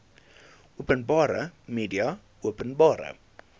openbare media openbare